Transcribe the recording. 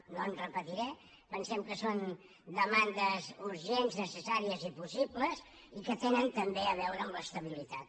no em repetiré pensem que són demandes urgents necessàries i possibles i que tenen també a veure amb l’estabilitat